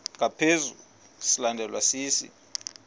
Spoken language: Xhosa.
ngaphezu silandelwa sisi